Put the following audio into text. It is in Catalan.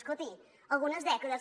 escolti algunes dècades